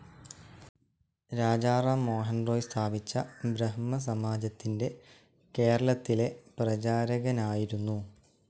രാജാറാം മോഹൻറോയ് സ്ഥാപിച്ച ബ്രഹ്മസമാജത്തിൻ്റെ കേരളത്തിലെ പ്രചാരകനായിരുന്നു.